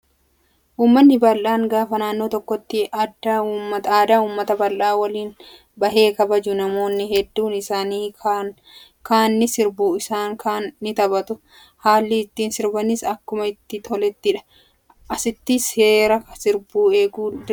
Uummanni bal'aan gaafa naannoo tokkotti aadaa uummata bal'aa waliin bahee kabaju namoonni hedduun isaan kaan ni sirbu isaan kaan ni taphatu. Haalli ittiin sirbanis akkuma itti tolettidha. Asitti seera sirbaa eeguun dirqamaa?